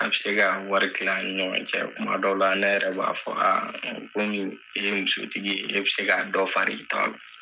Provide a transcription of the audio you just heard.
A bɛ se ka wari kila ani ni ɲɔgɔn cɛ , tuma dɔw la, ne yɛrɛ b'a fɔ sa kɔmi e ye musotigi ye e bɛ se dɔ fari i ta kan.